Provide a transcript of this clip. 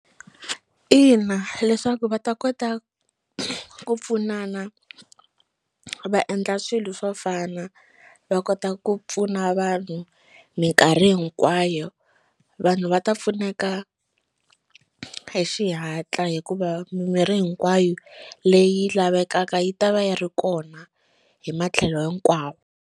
Ina, leswaku va ta kota ku pfunana va endla swilo swo fana va kota ku pfuna vanhu minkarhi hinkwayo vanhu va ta pfuneka hi xihatla hikuva mimirhi hinkwayo leyi lavekaka yi ta va yi ri kona hi matlhelo hinkwawo.